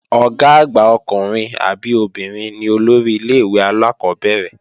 Ọ̀gá àgbà ọkùnrin àbí obìnrin ni olórí ilé-ìwé alákọ́bẹ̀rẹ̀